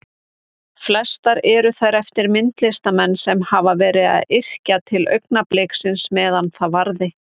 Flestar eru þær eftir myndlistarmenn sem hafa verið að yrkja til augnabliksins meðan það varði.